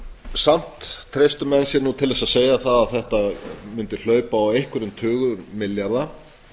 samt treystu menn sér til að segja að þetta mundi hlaupa á einhverjum tugum milljarða